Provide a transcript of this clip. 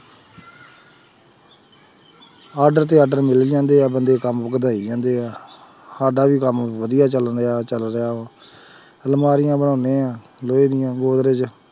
Order ਤੇ order ਮਿਲ ਜਾਂਦੇ ਆ ਬੰਦੇ ਕੰਮ ਵਧਾਈ ਜਾਂਦੇ ਆ ਸਾਡਾ ਵੀ ਕੰਮ ਵਧੀਆ ਚੱਲ ਰਿਹਾ ਚੱਲ ਰਿਹਾ ਵਾ ਅਲਮਾਰੀਆਂ ਬਣਾਉਂਦੇ ਹਾਂ ਲੋਹੇ ਦੀਆਂ